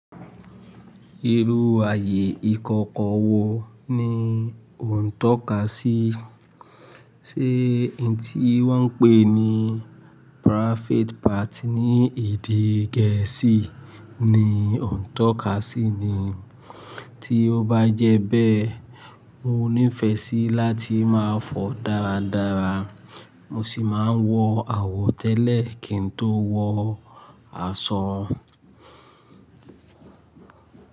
Irú ààyè ìkọkọ wo ni o ń tọ́ka sí? Ṣé ẹni tí wọ́n ń pè ní private party ní èdè gẹ̀ẹ́sì ni o ń tọ́ka sí ni? Tí ó bá jẹ́ bẹ́ẹ̀, mo níìfẹ̀ sí láti máa fọ̀ dáradára, mo sì máa ń wọ àwọ̀ tẹ́lẹ̀ kí n tó wọ aṣọ.